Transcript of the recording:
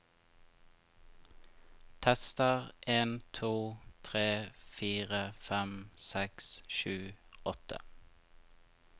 Tester en to tre fire fem seks sju åtte